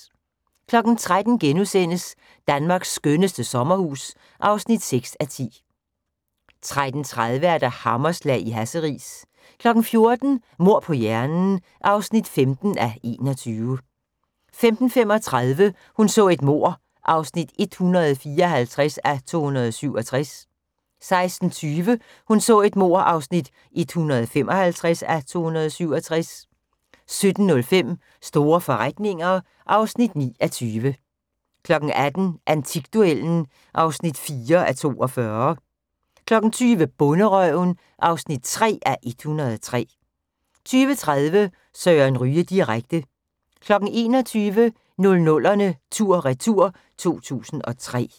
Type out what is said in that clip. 13:00: Danmarks skønneste sommerhus (6:10)* 13:30: Hammerslag i Hasseris 14:00: Mord på hjernen (15:21) 15:35: Hun så et mord (154:267) 16:20: Hun så et mord (155:267) 17:05: Store forretninger (9:20) 18:00: Antikduellen (4:42) 20:00: Bonderøven (3:103) 20:30: Søren Ryge direkte 21:00: 00'erne tur/retur: 2003